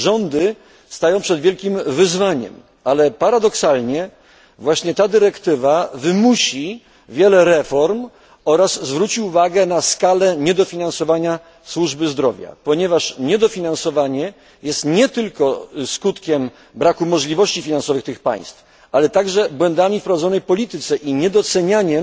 Rządy stają przed wielkim wyzwaniem, ale paradoksalnie właśnie ta dyrektywa wymusi wiele reform oraz zwróci uwagę na skalę niedofinansowania służby zdrowia, ponieważ niedofinansowanie jest nie tylko skutkiem braku możliwości finansowych tych państw, ale także skutkiem błędów w prowadzonej polityce i niedocenienia